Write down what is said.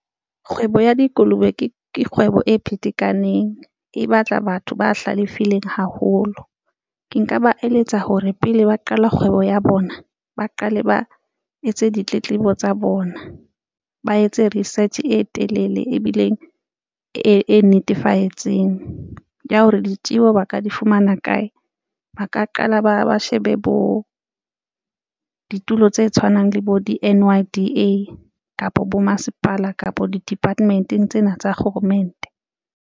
Kgwebo ya dikolobe ke kgwebo e phete kaneng e batla batho ba hlalefile haholo ke nka ba eletsa hore pele ba qala kgwebo ya bona, ba qale ba etse ditletlebo tsa bona, ba etse research e telele ebileng e netefaditsweng ya hore ditjeho ba ka di fumana kae, ba ka qala ba ba shebe bo ditulo tse tshwanang le bo di-N_Y_D_A kapa bo masepala kapa di department-eng tsena tsa kgoromente.